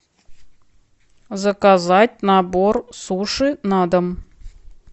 заказать набор суши на дом